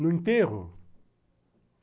No enterro?